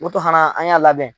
hana an y'a labɛn.